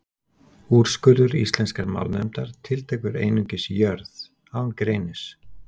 Úrskurður Íslenskrar málnefndar tiltekur einungis Jörð, án greinis.